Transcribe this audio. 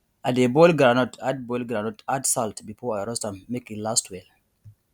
i dey boil groundnut add boil groundnut add salt before i roast am make e last well